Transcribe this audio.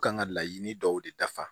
Kan ka laɲini dɔw de dafa